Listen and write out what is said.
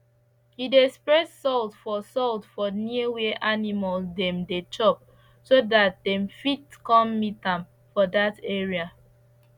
he dey spread salt for salt for near where the animals dem dey chop so dat dem fit con meet am for dat area